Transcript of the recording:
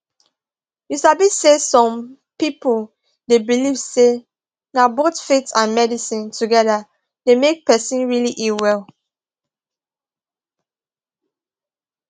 you sabi say some people dey believe say na both faith and medicine together dey make person really heal well